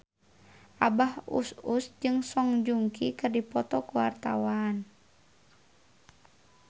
Abah Us Us jeung Song Joong Ki keur dipoto ku wartawan